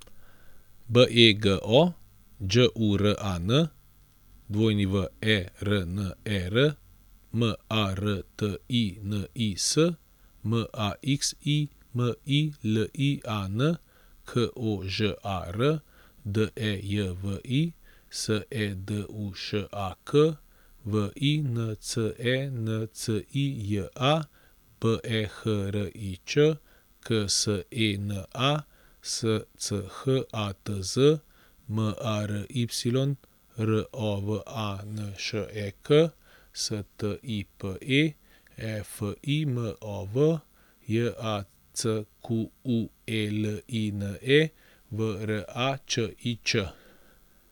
B E G O, Đ U R A N; W E R N E R, M A R T I N I S; M A X I M I L I A N, K O Ž A R; D E J V I, S E D U Š A K; V I N C E N C I J A, B E H R I Ć; K S E N A, S C H A T Z; M A R Y, R O V A N Š E K; S T I P E, E F I M O V; J A C Q U E L I N E, V R A Č I Č.